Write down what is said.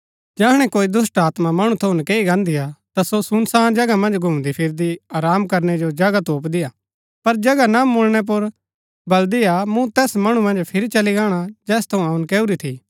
जैहणै कोई दुष्‍टात्मा मणु थऊँ नकैई गान्दीआ ता सो सुनसान जगह मन्ज घुमदीफिरदी आराम करनै जो जगह तोपदीआ पर जगह न मुळणै पुर बलदिआ मुँ तैस मणु मन्ज फिरी चली गाणा जैस थऊँ अऊँ नकैऊरी थी